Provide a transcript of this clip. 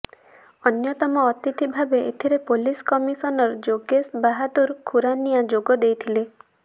ଅନ୍ୟତମ ଅତିଥି ଭାବେ ଏଥିରେ ପୋଲିସ୍ କମିଶନର ଯୋଗେଶ ବାହାଦୂର ଖୁରାନିଆ ଯୋଗ ଦେଇଥିଲେ